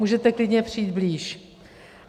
Můžete klidně přijít blíž.